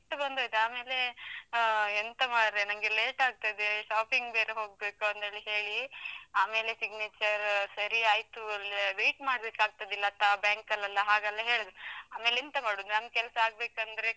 ನಂಗೆ ಸಿಟ್ಟು ಬಂದೋಯ್ತು, ಆಮೇಲೆ ಆ ಎಂತ ಮಾರೆ ನಂಗೆ late ಆಗ್ತದೆ shopping ಬೇರೆ ಹೋಗ್ಬೇಕು ಅಂತೇಳಿ ಹೇಳಿ, ಆಮೇಲೆ signature ಸರಿ ಆಯ್ತು, ಆ wait ಮಾಡ್ಬೇಕಾಗ್ತದೆ ಲತಾ ಬ್ಯಾಂಕಲ್ಲೆಲ್ಲಾ ಹಾಗೆಲ್ಲ ಹೇಳಿದ್ರು, ಆಮೇಲ್ ಎಂತ ಮಾಡುದು ನಮ್ ಕೆಲ್ಸ ಆಗ್ಬೇಕಂದ್ರೆ.